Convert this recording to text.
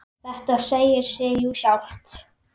Þetta segir sig jú sjálft!